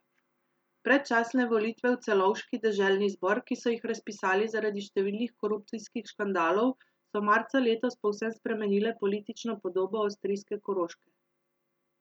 Predčasne volitve v celovški deželni zbor, ki so jih razpisali zaradi številnih korupcijskih škandalov, so marca letos povsem spremenile politično podobo avstrijske Koroške.